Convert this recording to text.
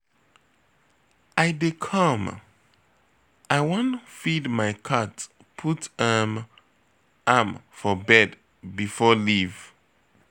I dey come, I wan feed my cat put um am for bed before Ieave